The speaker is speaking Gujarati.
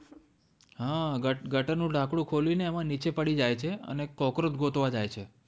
હા ગટર નું ઢાંકણું ખોલી ને એમાં નીચે પડી જાય છે અને cockroach ગોતવા જાય છે